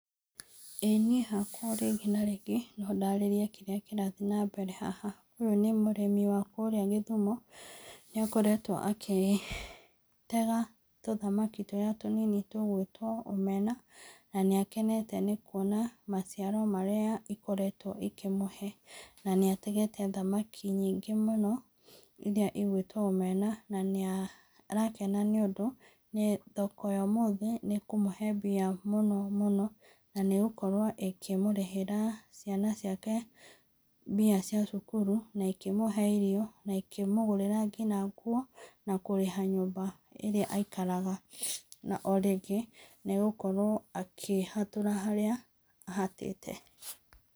Ĩĩ niĩ hakwa o rĩngĩ na rĩngĩ no ndarĩrie kĩrĩa kĩratiĩ na mbere haha. Ũyũ nĩ mũrĩmi wa kũrĩa gĩthumo, nĩ akoretwo agĩtega tũthamaki tũrĩa tũnini tũgwĩtwo omena na nĩakenete nĩ kuona maciaro marĩa ikoretwo ikĩmũhe na nĩategete thamaki nyingĩ mũno iria igwĩtwo omena na nĩarakena nĩ ũndũ thoko ya ũmũthĩ nĩ ĩkũmũhe mbia mũno mũno na nĩ ĩgũkorwo ĩkĩmũrĩhĩra ciana ciake mbia cia cukuru na ikĩmũhe irio na ikĩmũgũrira nginya nguo na kũrĩha nyũmba ĩrĩa aikaraga, na o rĩngĩ nĩegũkorwo akĩhatũra harĩa ahatĩte.